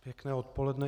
Pěkné odpoledne.